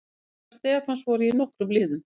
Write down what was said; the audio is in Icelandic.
Spurningar Stefáns voru í nokkrum liðum.